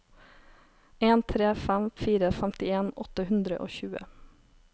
en tre fem fire femtien åtte hundre og tjue